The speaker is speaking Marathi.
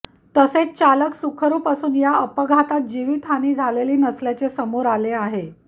तसेच चालक सुखरुप असून या अपघातात जिवित हानी झालेली नसल्याचे समोर आले आहे